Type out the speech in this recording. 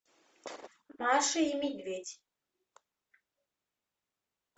маша и медведь